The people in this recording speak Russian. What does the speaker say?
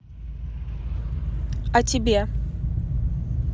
а тебе